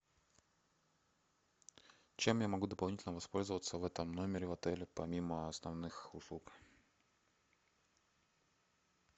чем я могу дополнительно воспользоваться в этом номере в отеле помимо основных услуг